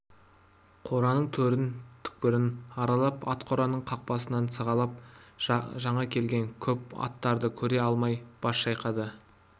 қораның төрін түкпірін аралап ат қораның қақпасынан сығалап жаңа келген көп аттарды көре алмай бас шайқады